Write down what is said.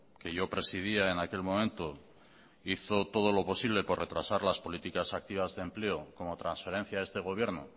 que yo presidía en aquel momento hizo todo lo posible por retrasar las políticas activas de empleo como transferencia a este gobierno